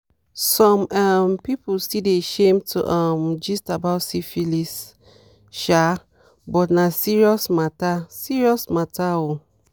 some um people still dey shame to um gist about syphilis um but na serious matter serious matter oo